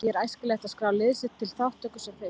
Því er æskilegt að skrá lið sitt til þátttöku sem fyrst.